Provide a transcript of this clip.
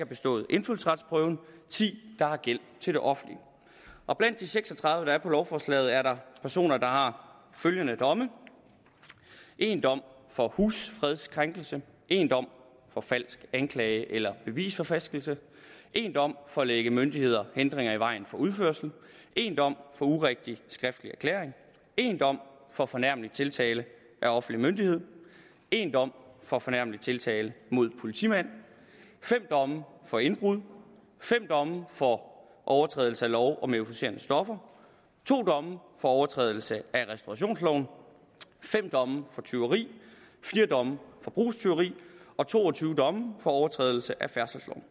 bestået indfødsretsprøven ti der har gæld til det offentlige og blandt de seks og tredive der er optaget på lovforslaget er der personer der har følgende domme en dom for husfredskrænkelse en dom for falsk anklage eller bevisforfalskning en dom for at lægge myndighederne hindringer i vejen for udførelse en dom for urigtig skriftlig erklæring en dom for fornærmelig tiltale af offentlig myndighed en dom for fornærmelig tiltale af politimand fem domme for indbrud fem domme for overtrædelse af lov om euforiserende stoffer to domme for overtrædelse af restaurationsloven fem domme for tyveri fire domme for brugstyveri og to og tyve domme for overtrædelse af færdselsloven